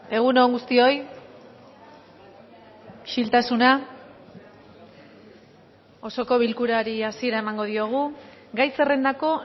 egun on guztioi isiltasuna osoko bilkurari hasiera emango diogu gai zerrendako